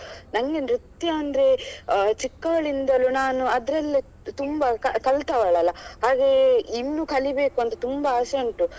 ನಂಗೆ ನೃತ್ಯ ಅಂದ್ರೆ ಅಹ್ ಚಿಕ್ಕವಳಿಂದಲೂ ನಾನು ಅದ್ರಲ್ಲೇ ತುಂಬಾ ಕಲಿತವಳಲ್ಲ ಹಾಗೆ ಇನ್ನು ಕಲಿಬೇಕಂತ ತುಂಬಾ ಆಸೆ ಉಂಟು